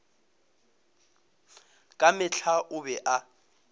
ka mehla o be a